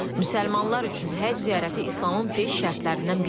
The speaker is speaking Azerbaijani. Müsəlmanlar üçün Həcc ziyarəti İslamın beş şərtlərindən biridir.